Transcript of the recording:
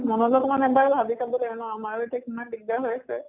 মনত অকমান ভাবি চাব লাগে ন আমাৰো ইয়াতে কিমান দিগ্দাৰ হৈ আছে।